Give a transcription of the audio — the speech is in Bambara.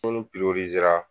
sanu pirorizera